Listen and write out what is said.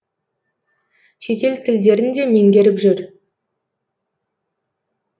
шетел тілдерін де меңгеріп жүр